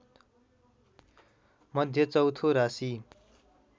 मध्य चौथो राशि